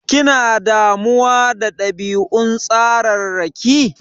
Kina damuwa da ɗabi'un tsararraki?